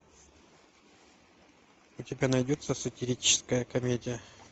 у тебя найдется сатирическая комедия